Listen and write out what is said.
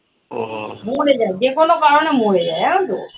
মোরে যায়, যেকোনো কারণে মোরে যায় জানো তো?